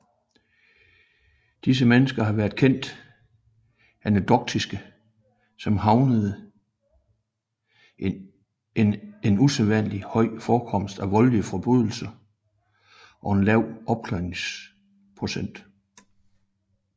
Disse mennesker har været kendt anekdotisk som havende en usædvanlig høj forekomst af voldelige forbrydelser og en lav opklaringsprocent